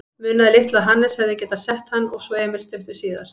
Munaði litlu að Hannes hefði getað sett hann og svo Emil stuttu síðar.